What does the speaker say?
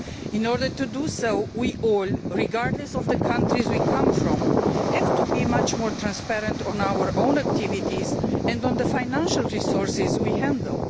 In order to do so, we all, regardless of the countries we come from, have to be much more transparent when it comes to our own activities and the financial resources we handle.